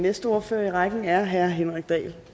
næste ordfører i rækken er herre henrik dahl